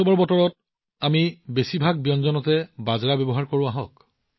এই উৎসৱৰ বতৰত আমি বেছিভাগ ব্যঞ্জনত বাজৰা ব্যৱহাৰ কৰোঁ